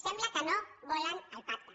sembla que no volen el pacte